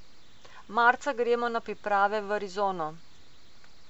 Marca gremo na priprave v Arizono.